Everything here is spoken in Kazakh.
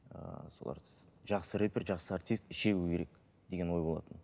ыыы соларды жақсы рэпер жақсы артист шегу керек деген ой болатын